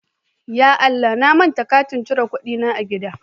Ya Allah!, na manta katin cire kuɗi na a gida.